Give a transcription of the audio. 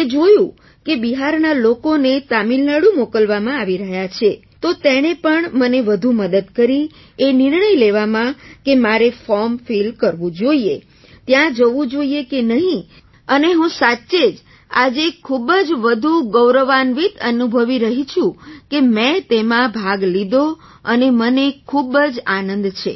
એ જોયું કે બિહારના લોકોને તમિલનાડુ મોકલવામાં આવી રહ્યા છે તો તેણે પણ મને વધુ મદદ કરી એ નિર્ણય લેવામાં કે મારે ફૉર્મ ફિલ કરવું જોઈએ ત્યાં જવું જોઈએ કે નહીં અને હું સાચે જ આજે ખૂબ જ વધુ ગૌરવાન્વિત અનુભવી રહી છું કે મેં તેમાં ભાગ લીધો અને મને ખૂબ જ આનંદ છે